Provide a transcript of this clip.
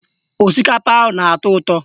Osikapa ahụ na-atọ ụtọ